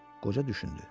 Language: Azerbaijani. Qoca düşündü.